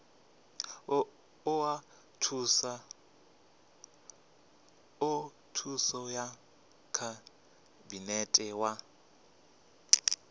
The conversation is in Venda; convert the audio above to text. oa thuso ya khabinete wa